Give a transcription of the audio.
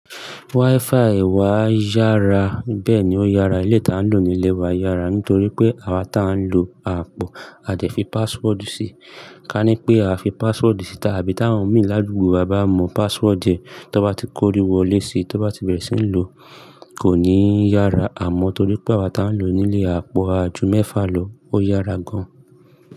WiFi wa yára, bẹ́ẹ̀ni ó yára. Elé tá n lò nílé wa yára nítorí pé àwa tá ń lò a àpò, a dẹ̀ fi password sí i. Ka ní pé a a fi password sí i tàbí tá won mi ládúgbo, wá bá mọ password ẹ, tó bá ti kó rí wọlé síi, tó bá ti bẹ̀rẹ̀ sí ń lò, kò ní yára. Àmọ́ torí pé àwa tá ń lò nílé a àpò ajú mẹ́fà lò, ó yára gan.